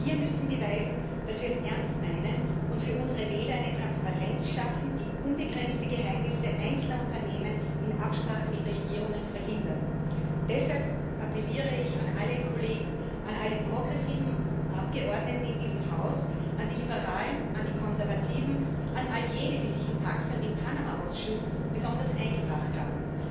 Wir müssen beweisen, dass wir es ernst meinen, und für unsere Wähler eine Transparenz schaffen, die unbegrenzte Geheimnisse einzelner Unternehmen in Absprache mit Regierungen verhindert. Deshalb appelliere ich an alle Kollegen, an alle progressiven Abgeordneten in diesem Haus, an die Liberalen, an die Konservativen, an all jene, die sich im TAXE und im Panama Ausschuss besonders eingebracht haben